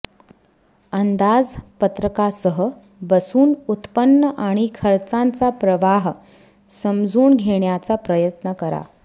अंदाजपत्रकासह बसून उत्पन्न आणि खर्चांचा प्रवाह समजून घेण्याचा प्रयत्न करा